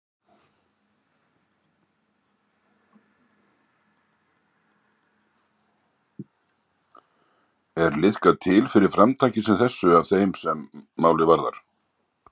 Er liðkað til fyrir framtaki sem þessu af þeim sem málið varðar?